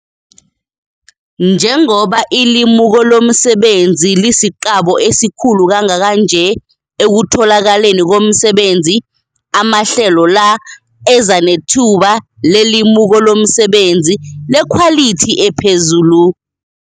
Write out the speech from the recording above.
Njengoba ilimuko lomsebenzi lisiqabo esikhulu kangaka nje ekutholakaleni komsebenzi, amahlelola ezanethuba lelimuko lomsebenzi lekhwalithi ephezulu.